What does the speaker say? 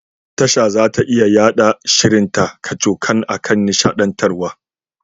Tasha zata iya yaɗa shirin ta kacokan akan nishaɗantarwa.